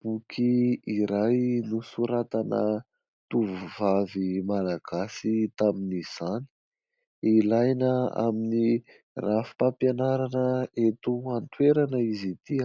Boky iray nosoratana tovovavy Malagasy tamin'izany. Ilaina amin'ny rafi-pampianarana eto an-toerana izy ity